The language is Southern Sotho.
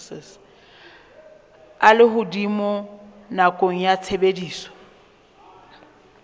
a lehodimo nakong ya tshebediso